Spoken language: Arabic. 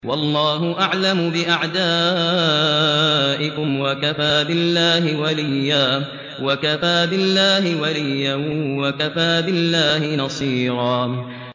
وَاللَّهُ أَعْلَمُ بِأَعْدَائِكُمْ ۚ وَكَفَىٰ بِاللَّهِ وَلِيًّا وَكَفَىٰ بِاللَّهِ نَصِيرًا